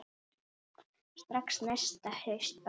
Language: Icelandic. Strax næsta haust bara.